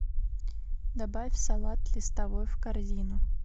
добавь салат листовой в корзину